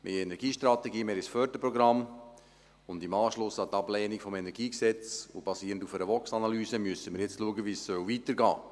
Wir haben eine Energiestrategie, wir haben ein Förderprogramm, und im Anschluss an die Ablehnung des KEnG sowie basierend auf einer VOX-Analyse müssen wir jetzt schauen, wie es weitergehen soll.